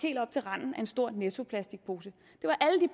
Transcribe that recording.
en stor nettoplastikpose